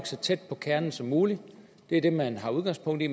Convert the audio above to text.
så tæt på kernen som muligt det er det man tager udgangspunkt i